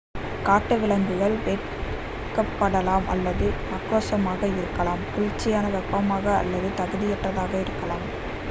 காட்டு விலங்குகள் வெட்க்பபடலாம் அல்லது ஆக்ரோஷமக இருக்கலாம். குளிர்ச்சியான வெப்பமாக அல்லது தகுதியற்றதாக இருக்கலாம்